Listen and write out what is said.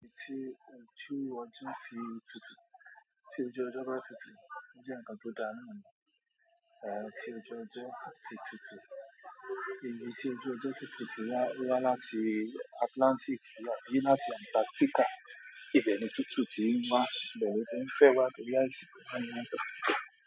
Igi tí ojú ọjọ́ fi tutù, tí ojú ọjọ́ bá tutù, ó jẹ́ ǹkan tó dára náà ni. Èéh, tí ojú ọjọ́ bá ti tutù, ibi tí ojú ọjọ́ ti tutù wá láti Atlantic wá dín láti Antarctica, ibẹ̀ ni tútù ti ń wá, ibẹ̀ ló tu n fẹ́ wá torí āsìkò.